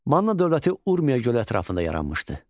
Manna dövləti Urmiya gölü ətrafında yaranmışdı.